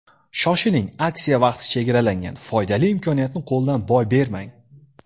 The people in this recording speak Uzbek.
Shoshiling aksiya vaqti chegaralangan, foydali imkoniyatni qo‘ldan boy bermang!